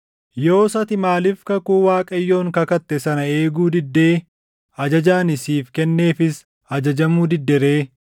Yoos ati Maaliif kakuu Waaqayyoon kakatte sana eeguu diddee ajaja ani siif kenneefis ajajamuu didde ree?”